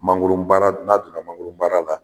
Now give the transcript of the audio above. Mangoro baara n'a donna mangoro baara la